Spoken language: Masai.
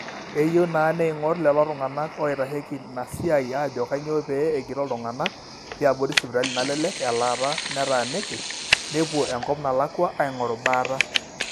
eyieu naa neing'or lelo tung'anak ooitasheiki ina siaii ajo kanyoo pee egiroo iltung'anak liabori sipitali nalelek elaata netaaniki, nepuo enkop nalakwa aing'oru baata